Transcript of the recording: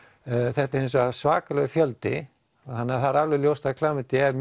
þetta er hins vegar svakalegur fjöldi þannig að það er ljóst að klamydía er